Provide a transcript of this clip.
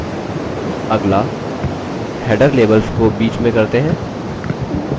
अगला header labels को बीच में करते हैं